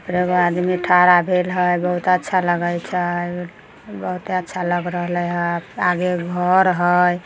एगो आदमी ठड़ा भेल हई बहुत अच्छा लगे छै बहोत अच्छा लग रहले या। आगे घर हई--